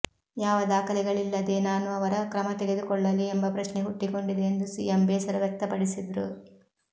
ಯಾವ ದಾಖಲೆಗಳಿಲ್ಲದೇ ನಾನು ಅವರ ಕ್ರಮತೆಗೆದುಕೊಳ್ಳಲಿ ಎಂಬ ಪ್ರಶ್ನೆ ಹುಟ್ಟಿಕೊಂಡಿದೆ ಎಂದು ಸಿಎಂ ಬೇಸರ ವ್ಯಕ್ತಪಡಿಸಿದ್ರು